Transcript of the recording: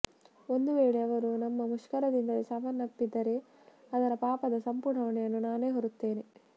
ಒಂದು ವೇಳೆ ಅವರು ನಮ್ಮ ಮುಷ್ಕರದಿಂದಲೇ ಸಾವನ್ನಪ್ಪಿದ್ದರೆ ಅದರ ಪಾಪದ ಸಂಪೂರ್ಣ ಹೊಣೆಯನ್ನು ನಾನೇ ಹೊರುತ್ತೇನೆ